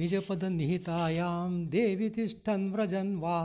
निजपदनिहितायां देवि तिष्ठन् व्रजन् वा